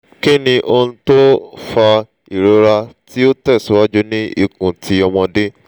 ki ni ohun ti o fa irora ti o tesiwaju ni ikun ti omode